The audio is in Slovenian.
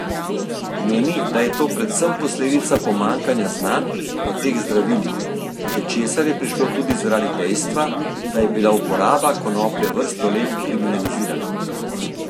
Meni, da je to predvsem posledica pomanjkanja znanj o teh zdravilih, do česar je prišlo tudi zaradi dejstva, da je bila uporaba konoplje vrsto let kriminalizirana.